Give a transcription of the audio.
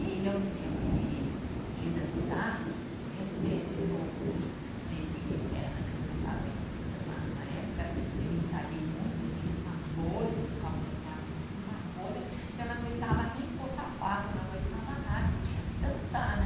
E eu me lembro que de dançar, mesmo nesse no, nesse Ilha Eterna que eu dançava solista na, uma época eu ensaiei muito, eu fiz uma bolha no calcanhar, mas eu fiz uma bolha que eu não aguentava nem pôr sapato, eu não aguentava nada e tinha que dançar, né?